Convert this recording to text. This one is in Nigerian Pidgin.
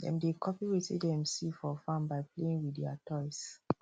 dem dey copy wetin dem see for farm by playing with their toys